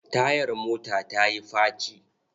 Tayar mota ta yi faci.